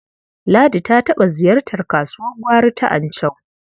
Ladi ta taɓa ziyartar kasuwar gwari ta Anchau.